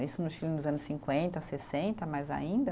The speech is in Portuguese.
Isso no Chile nos anos cinquenta, sessenta, mais ainda.